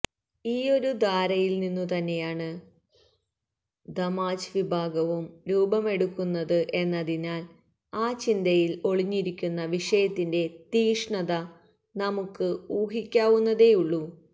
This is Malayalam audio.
ഈയൊരു ധാരയില്നിന്നുതന്നെയാണ് ദമ്മാജ് വിഭാഗവും രൂപമെടുക്കുന്നത് എന്നതിനാല് ആ ചിന്തയില് ഒളിഞ്ഞിരിക്കുന്ന വിഷത്തിന്റെ തീക്ഷ്ണത നമുക്ക് ഊഹിക്കാവുന്നതേയുള്ളൂ